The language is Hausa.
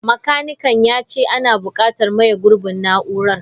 Makanikan ya ce ana bukatar maye gurbin na'urar.